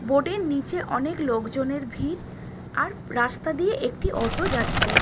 Board এর নিচে অনেক লোকজনের ভিড় আর রাস্তা দিয়ে একটি অটো যাচ্ছে।